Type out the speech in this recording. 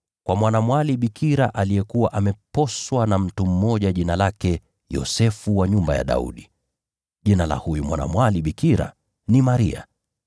kwa mwanamwali bikira aliyekuwa ameposwa na mtu mmoja jina lake Yosefu wa nyumba ya Daudi. Jina la huyu mwanamwali bikira ni Maria.